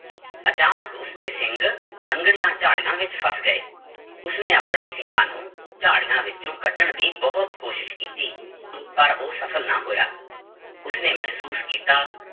ਅਚਾਨਕ ਉਸਦੇ ਸਿੰਘ ਸੰਘਣੀਆਂ ਝਾੜੀਆਂ ਵਿੱਚ ਫਸ ਗਏ, ਉਸਨੇ ਆਪਣੇ ਸਿੰਗਾਂ ਨੂੰ ਝਾੜੀਆਂ ਵਿੱਚੋਂ ਕੱਢਣ ਦੀ ਬਹੁਤ ਕੋਸ਼ਿਸ਼ ਕੀਤੀ ਪਰ ਉਹ ਸਫ਼ਲ ਨਾ ਹੋਇਆ, ਉਸਨੇ ਮਹਿਸੂਸ ਕੀਤਾ